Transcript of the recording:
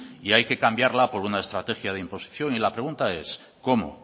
y hay que cambiarla por una estrategia de imposición y la pregunta es cómo